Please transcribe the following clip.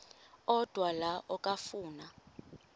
odwa la okafuna